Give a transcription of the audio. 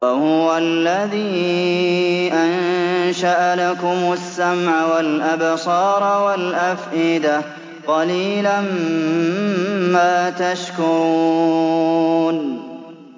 وَهُوَ الَّذِي أَنشَأَ لَكُمُ السَّمْعَ وَالْأَبْصَارَ وَالْأَفْئِدَةَ ۚ قَلِيلًا مَّا تَشْكُرُونَ